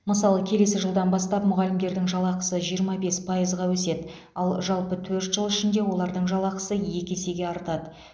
мысалы келесі жылдан бастап мұғалімдердің жалақысы жиырма бес пайызға өседі ал жалпы төрт жыл ішінде олардың жалақысы екі есеге артады